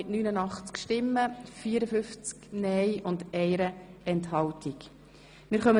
Wer Planungserklärung 2 annehmen will, stimmt ja, wer sie ablehnt, stimmt nein.